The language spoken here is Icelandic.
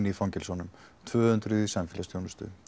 í fangelsunum tvö hundruð í samfélagsþjónustu